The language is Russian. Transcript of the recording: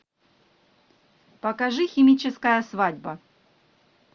покажи химическая свадьба